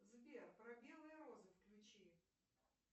сбер про белые розы включи